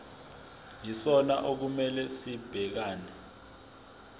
yisona okumele sibhekane